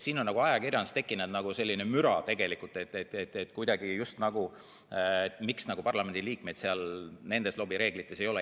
Siin on ajakirjanduses tekkinud nagu selline müra, et miks parlamendi liikmeid seal nendes lobireeglites ei ole.